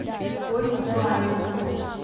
ольгу баеву